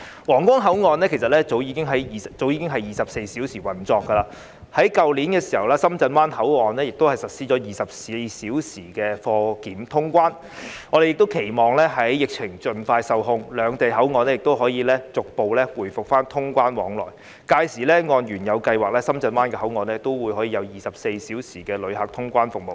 皇崗口岸其實早已是24小時運作，而在去年，深圳灣口岸亦實施了24小時的貨檢通關，我們期望疫情盡快受控，兩地口岸可以逐步回復通關往來，屆時按原有計劃，深圳灣口岸也可有24小時的旅客通關服務。